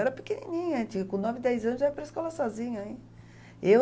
Eu era pequenininha, tinha, com nove, dez anos, eu ia para a escola sozinha, hein? Eu